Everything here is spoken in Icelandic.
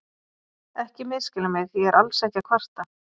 Ekki misskilja mig, ég er alls ekki að kvarta.